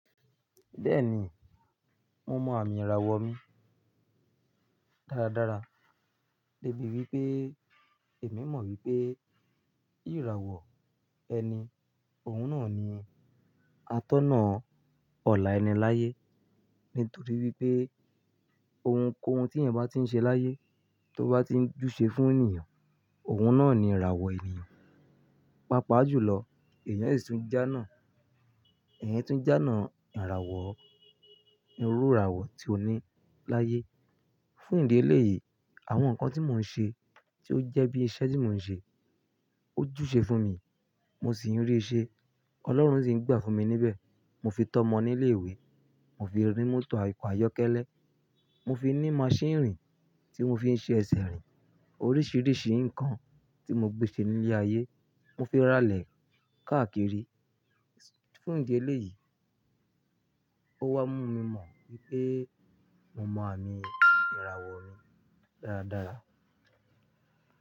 Bẹ́ẹ̀ni, mo mọ àmì ìràwọ̀ mi dáradára débi wípé èmi mọ̀ wípé ìràwọ̀ ẹni, òun náà ni atọ́nà ọlá ẹni láyé. Nítorí wípé ohunkóhun tí ẹ̀yan bá tí ń ṣe láyé, tó bá tí ń júse fún ènìyàn, òun náà ni ìràwọ̀ ènìyàn. Pápá jù lọ, ẹ̀yàn sì tún jánà, ẹ̀yàn tún jánà ìràwọ̀, irú ìràwọ̀ tí ó ní láyé. Fún ìdí eléyìí, àwọn nǹkan tí mò ń ṣe tí ó jẹ́ bí iṣẹ́ tí mò ń ṣe, ó júse fún mi, mo sì ń rí ṣe. Ọlọ́run sì ń gbà fún mi níbẹ̀. Mo fi tọ́ ọmọ ní ilé ìwé, mo fi rí mọ́tò oko àyọ́kẹ́lẹ́, mo fi ní maṣíìnì irìn tí mo fi ń ṣe ẹsẹ̀ rìn. Oríṣìíríṣìí nǹkan tí mo gbé ṣe nílé ayé, mo fi rálẹ̀ káàkiri. Fún ìdí eléyìí, ó wá mú mi mọ̀ wípé mo mọ àmì ìràwọ̀ mi dáradára.